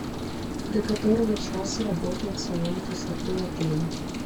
до которого часа работает салон красоты в отеле